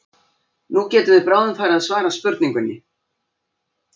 Nú getum við bráðum farið að svara spurningunni.